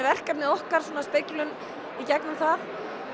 verkefnin okkar sem speglun í gegnum það